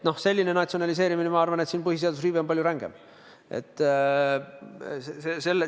Sellise natsionaliseerimise korral, ma arvan, on põhiseaduse riive palju rängem.